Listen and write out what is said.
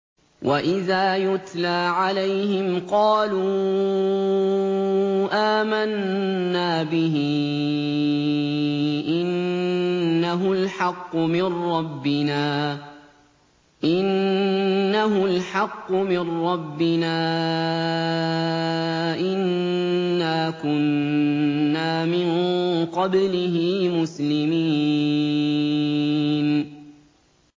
وَإِذَا يُتْلَىٰ عَلَيْهِمْ قَالُوا آمَنَّا بِهِ إِنَّهُ الْحَقُّ مِن رَّبِّنَا إِنَّا كُنَّا مِن قَبْلِهِ مُسْلِمِينَ